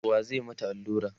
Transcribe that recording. wa zai mata Alura?